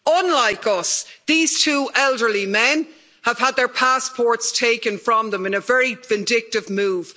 Unlike us, these two elderly men have had their passports taken from them in a very vindictive move.